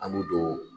An y'o don